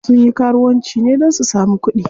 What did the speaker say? Sun yi karuwanci ne don su samu kuɗi.